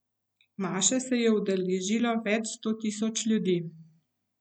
Maše se je udeležilo več sto tisoč ljudi.